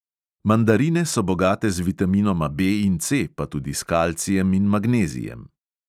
Mandarine so bogate z vitaminoma B in C, pa tudi s kalcijem in magnezijem.